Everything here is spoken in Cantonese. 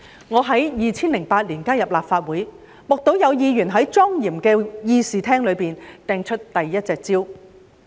我在2008年加入立法會，目睹有議員在莊嚴的議事廳內擲出第一隻香蕉。